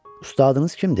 Ustadınız kimdir?